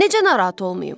Necə narahat olmayım?